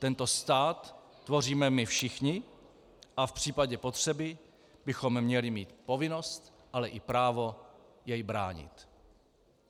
Tento stát tvoříme my všichni a v případě potřeby bychom měli mít povinnost, ale i právo jej bránit.